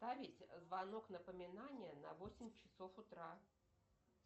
повесь звонок напоминание на восемь часов утра